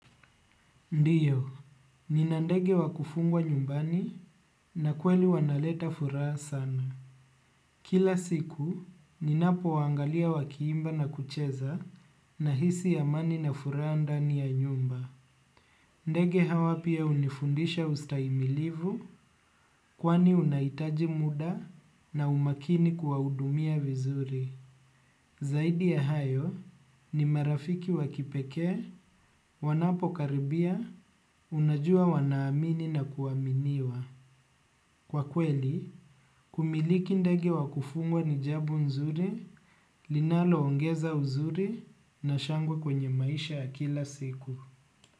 Ndiyo, nina ndege wa kufungwa nyumbani na kweli wanaleta furaha sana. Kila siku, ninapowaangalia wakiimba na kucheza nahisi amani na furaha ndani ya nyumba. Ndege hawa pia unifundisha ustaimilivu kwani unaitaji muda na umakini kuwaudumia vizuri. Zaidi ya hayo ni marafiki wa kipekee, wanapokaribia, unajua wanaamini na kuaminiwa. Kwa kweli, kumiliki ndege wa kufungwa ni jabo nzuri, linalo ngeza uzuri na shangwe kwenye maisha ya kila siku.